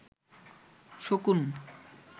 শকুন